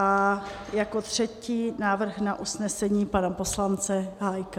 A jako třetí návrh na usnesení pana poslance Hájka.